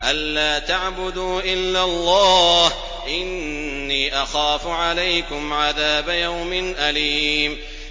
أَن لَّا تَعْبُدُوا إِلَّا اللَّهَ ۖ إِنِّي أَخَافُ عَلَيْكُمْ عَذَابَ يَوْمٍ أَلِيمٍ